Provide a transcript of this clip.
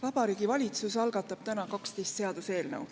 Vabariigi Valitsus algatab täna 12 seaduseelnõu.